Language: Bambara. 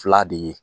Fila de ye